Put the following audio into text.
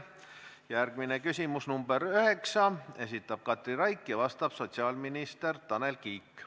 Järgmine küsimus, nr 9, esitab Katri Raik ja vastab sotsiaalminister Tanel Kiik.